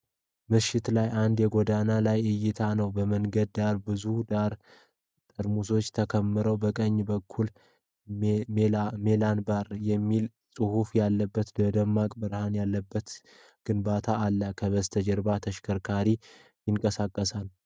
ምሽት ላይ አንድ የጎዳና ላይ እይታ ነው። በመንገድ ዳር ብዙ ባዶ ጠርሙሶች ተከምረዋል። በቀኝ በኩል “ሜላን ባር” የሚል ጽሑፍ ያለበት ደማቅ ብርሃን ያለበት ግንባታ አለ። ከበስተጀርባ ተሽከርካሪ ይንቀሳቀሳል።